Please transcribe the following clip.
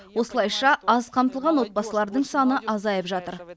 осылайша аз қамтылған отбасылардың саны азайып жатыр